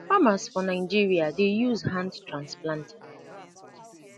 farmers for nigeria dey use hand transplanter